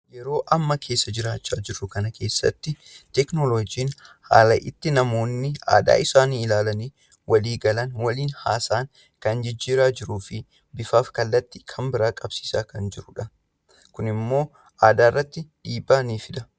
Yeroon amma keessa jiraachaa jirru kun yeroo namni teekinoloojii fayyadamuun adaa isaanii ittiin ibsatanidha. Teekinoloojiin kun yeroo ammaa kana aadaa kallattii isaa jijjiruun dhiibbaa aadaa irratti fidaa jira.